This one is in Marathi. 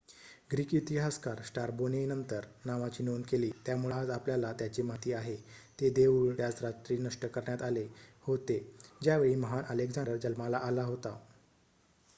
ग्रीक इतिहासकार स्टारबो ने नंतर नावाची नोंद केली त्यामुळे आज आपल्याला त्याची माहिती आहे ते देऊळ त्याच रात्री नष्ट करण्यात आले होते ज्यावेळी महान अलेक्झांडर जन्माला आला होता